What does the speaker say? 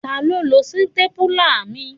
Taló n lo sítépúlà mi?